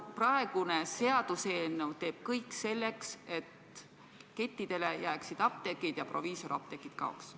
Praegune seaduseelnõu teeb kõik selleks, et kettidele jääksid apteegid alles ja proviisorapteegid kaoksid.